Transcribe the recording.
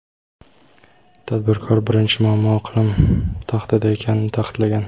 Tadbirkor birinchi muammo iqlim tahdidi ekanini ta’kidlagan.